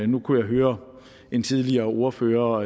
nu kunne jeg høre en tidligere ordfører